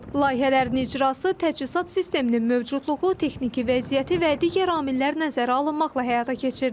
Layihələrin icrası, təchizat sisteminin mövcudluğu, texniki vəziyyəti və digər amillər nəzərə alınmaqla həyata keçirilir.